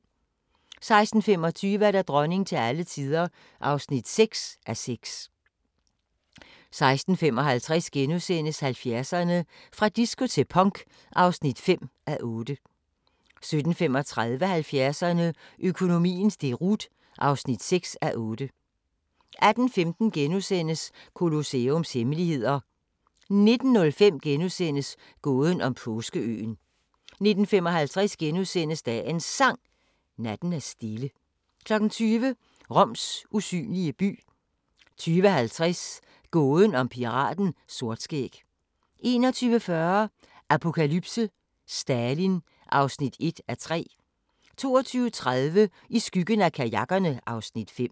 16:25: Dronning til alle tider (6:6) 16:55: 70'erne: Fra disco til punk (5:8)* 17:35: 70'erne: Økonomiens deroute (6:8) 18:15: Colosseums hemmeligheder * 19:05: Gåden om Påskeøen * 19:55: Dagens Sang: Natten er stille * 20:00: Roms usynlige by 20:50: Gåden om piraten Sortskæg 21:40: Apokalypse: Stalin (1:3) 22:30: I skyggen af kajakkerne (Afs. 5)